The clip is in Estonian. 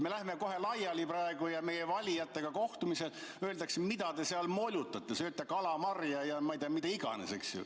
Me läheme kohe laiali ja meile valijatega kohtumisel öeldakse, et mida te seal molutate, sööte kalamarja ja, ma ei tea, mida iganes, eks ju.